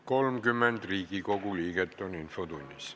Kohaloleku kontroll Infotunnis on 30 Riigikogu liiget.